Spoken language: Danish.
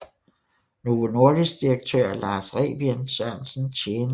Novo Nordisk direktør Lars Rebien Sørensen tjente